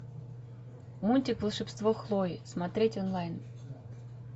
мультик волшебство хлои смотреть онлайн